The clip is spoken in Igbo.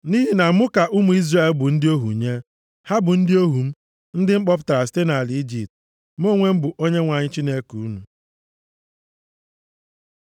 Nʼihi na mụ ka ụmụ Izrel bụ ndị ohu nye. Ha bụ ndị ohu m, ndị m kpọpụtara site nʼala Ijipt. Mụ onwe m bụ Onyenwe anyị Chineke unu.